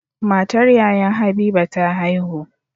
Matar Yayan habiba ta haihu